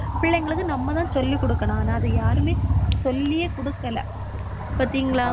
பிள்ளைங்களுக்கு நம்மதான் சொல்லிக்குடுக்கணும். ஆனா அதை யாருமே சொல்லியே குடுக்கல பாத்தீங்களா